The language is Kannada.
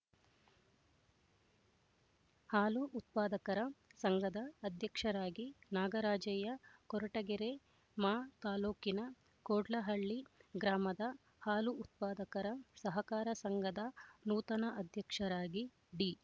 ಹಾಲು ಉತ್ಪಾದಕರ ಸಂಘದ ಅಧ್ಯಕ್ಷರಾಗಿ ನಾಗರಾಜಯ್ಯ ಕೊರಟಗೆರೆ ಮಾ ತಾಲ್ಲೂಕಿನ ಕೋಡ್ಲಹಳ್ಳಿ ಗ್ರಾಮದ ಹಾಲು ಉತ್ಪಾದಕರ ಸಹಕಾರ ಸಂಘದ ನೂತನ ಅಧ್ಯಕ್ಷರಾಗಿ ಡಿ